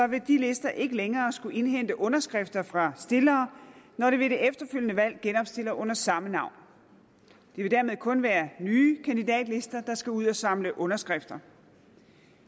vil de lister ikke længere skulle indhente underskrifter fra stillere når de ved det efterfølgende valg genopstiller under samme navn det vil dermed kun være nye kandidatlister der skal ud at samle underskrifter